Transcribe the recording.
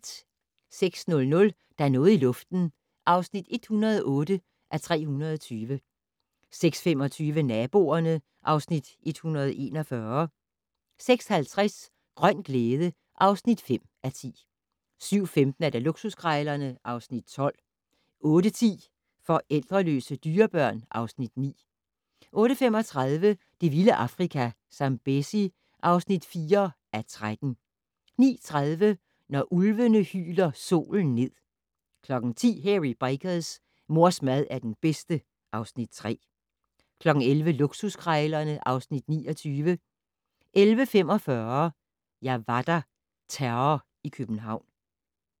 06:00: Der er noget i luften (108:320) 06:25: Naboerne (Afs. 141) 06:50: Grøn glæde (5:10) 07:15: Luksuskrejlerne (Afs. 12) 08:10: Forældreløse dyrebørn (Afs. 9) 08:35: Det vilde Afrika - Zambezi (4:13) 09:30: Når ulvene hyler solen ned 10:00: Hairy Bikers: Mors mad er den bedste (Afs. 3) 11:00: Luksuskrejlerne (Afs. 29) 11:45: Jeg var der - Terror i København